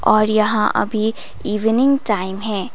और यहां अभी इवनिंग टाइम है।